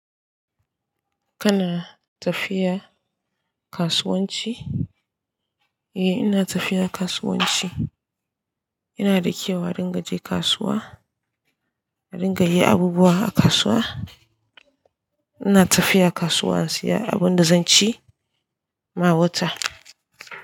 Kana tafiya kasuwanci? Eh, ina tafiya kasuwanci. Yana da kyau a ringa je kasuwa, a ringa yi abubuwa a kasuwa. Ina tafiya kasuwa in saya abin da zan ci ma wata.